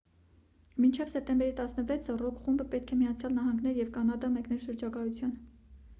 մինչև սեպտեմբերի 16-ը ռոք խումբը պետք է միացյալ նահանգներ և կանադա մեկներ շրջագայության